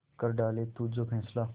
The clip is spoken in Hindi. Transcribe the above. कर डाले तू जो फैसला